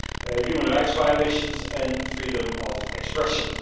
human rights violations and freedom of expression.